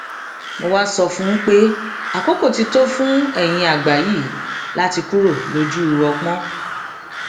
mo wáá sọ fún un pé àkókò ti tó fún eyín àgbà yìí láti kúrò lójú ọpọn